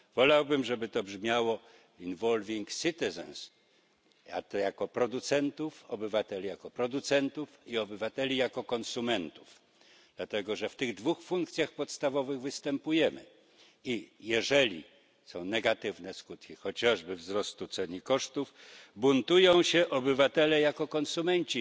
Wolałbym, żeby to brzmiało obywateli jako producentów i obywateli jako konsumentów dlatego, że w tych dwóch funkcjach podstawowych występujemy, i jeżeli są negatywne skutki chociażby wzrostu cen i kosztów, buntują się obywatele jako konsumenci,